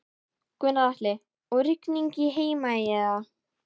Gunnar Atli: Og rigning í Heimaey eða?